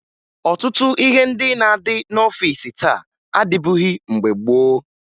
Ọtụtụ ihe ndị na-adị n'ọfiisi taa adịbughi mgbe gboo